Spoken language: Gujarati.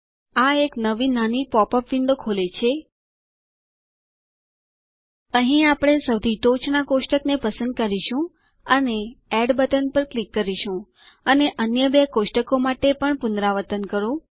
આ એક નવી નાની પોપ અપ વિન્ડો ખોલે છે અહીં આપણે સૌથી ટોચના કોષ્ટકને પસંદ કરીશું અને એડ બટન પર ક્લિક કરો અને અન્ય બે કોષ્ટકો માટે પણ પુનરાવર્તન કરો